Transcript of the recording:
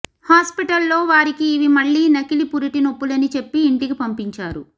hospital లో వారికి ఇవి మళ్ళీ నకిలీ పురిటినొప్పులని చెప్పి ఇంటికి పంపించారు